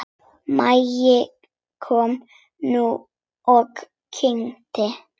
Maggi kom nú og kynnti.